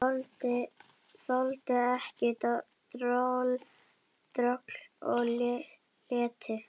Þoldi ekki droll og leti.